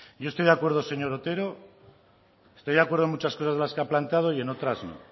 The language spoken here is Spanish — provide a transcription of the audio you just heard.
yo estoy de acuerdo señor otero estoy de acuerdo en muchas cosas de las que ha planteado y en otras no